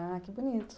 Ah, que bonito.